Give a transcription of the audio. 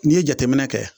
N'i ye jateminɛ kɛ